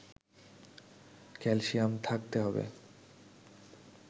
calcium থাকতে হবে